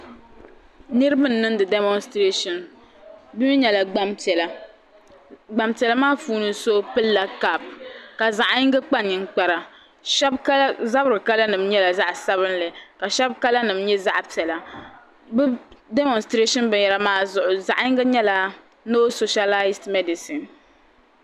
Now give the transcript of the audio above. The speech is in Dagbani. Niriba n-niŋdi demonsitireshin bɛ mi nyɛla gbampiɛla gbampiɛla maa puuni so pilila kapu ka zaɣ'yiŋgi kpa ninkpara shɛba zabiri kalanima nyɛla zaɣ'sabinli ka shɛba kalanima nyɛ zaɣ'piɛla bɛ demonsiterashin binyɛhiri maa zuɣu zaɣ'yiŋgi nyɛla no soshalasi medisin.